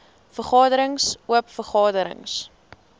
vergaderings oop vergaderings